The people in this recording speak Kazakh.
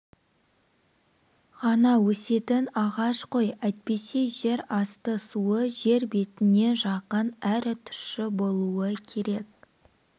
ғана өсетін ағаш қой әйтпесе жер асты суы жер бетіне жақын әрі тұщы болуы керек